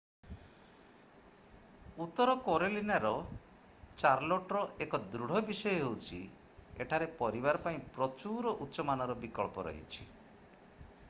ଉତ୍ତର କାରୋଲିନାର ଚାର୍ଲୋଟର 1 ଦୃଢ଼ ବିଷୟ ହେଉଛି ଏଠାରେ ପରିବାର ପାଇଁ ପ୍ରଚୁର ଉଚ୍ଚ-ମାନର ବିକଳ୍ପ ରହିଛି